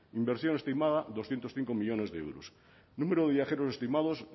inversión estimada doscientos cinco millónes de euros número de viajeros estimados